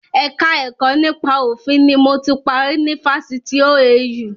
Ẹ̀ka ẹ̀kọ́ nípa òfin ni mo ti parí ni Fásitì OAU